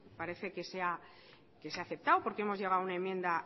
parece que se ha aceptado porque hemos llegado a una enmienda